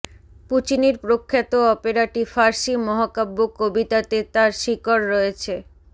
পুচিনির প্রখ্যাত অপেরাটি ফার্সি মহাকাব্য কবিতাতে তার শিকড় রয়েছে